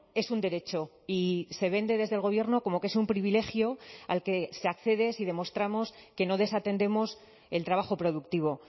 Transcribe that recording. es un derecho y se vende desde el gobierno como que es un privilegio al que se accede si demostramos que no desatendemos el trabajo productivo